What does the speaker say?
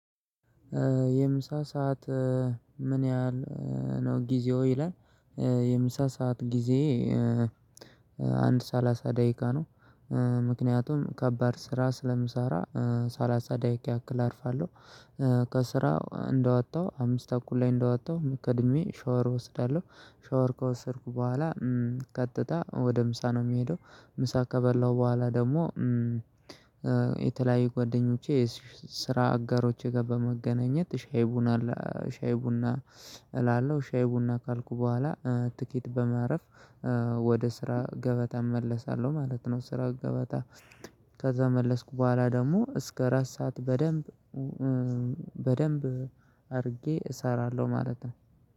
የምሳ ሰዓት ምን ያህል ነው? ጊዜው ይላል። የምሳ ሰዓት ጊዜ አንድ ሰላሳ ደቂቃ ነው። ምክንያቱም ከባድ ስራ ስለምሰራ ሰላሳ ደቂቃ ያክል አርፋለሁ። ከስራ እንደወጣሁ አምስት አኩል ላይ እንደወጣሁ ቀድሜ ሻወር እወስዳለሁ ሻወር ከወሰድኩ በኋላ ቀጥታ ወደ ምሳ ነው የምሄደው። ምሳ ከበላሁ በኋላ ደግሞ የተለያዩ ጓደኞቼ ስራ አጋሮቼ ጋር በመገናኘት ሻይ ቡና ሻይ ቡና እላለሁ ሻይ ቡና ካልኩ በኋላ ጥቂት በማረፍ ወደ ስራ ገበታ እመለሳለሁ። ማለት ነው። ስራ ገበታ ከዛ ከተመለስኩ በኋላ ደግሞ እስከ አራት ሰዓት በደንብ በደንብ አድርጌ እሰራለሁ ማለት ነው